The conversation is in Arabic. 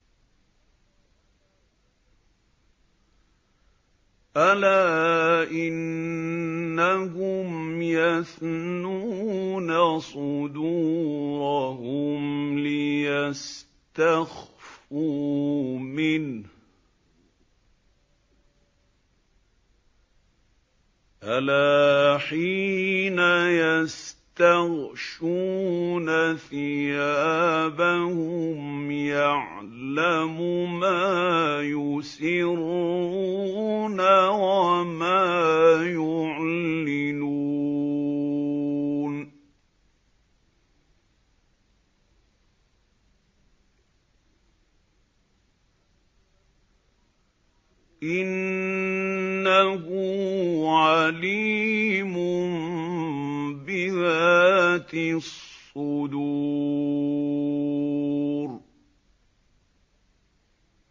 أَلَا إِنَّهُمْ يَثْنُونَ صُدُورَهُمْ لِيَسْتَخْفُوا مِنْهُ ۚ أَلَا حِينَ يَسْتَغْشُونَ ثِيَابَهُمْ يَعْلَمُ مَا يُسِرُّونَ وَمَا يُعْلِنُونَ ۚ إِنَّهُ عَلِيمٌ بِذَاتِ الصُّدُورِ